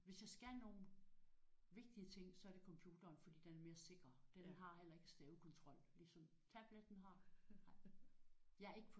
Hvis jeg skal nogle vigtige ting så er det computeren fordi den er mere sikrere. Den har heller ikke stavekontrol ligesom tabletten har